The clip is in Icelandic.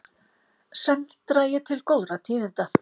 Senn dragi til góðra tíðinda